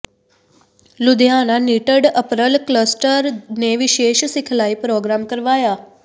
Ludhiana knitted apparel cluster ਨੇ ਵਿਸ਼ੇਸ਼ ਸਿਖਲਾਈ ਪ੍ਰੋਗਰਾਮ ਕਰਵਾਇਆ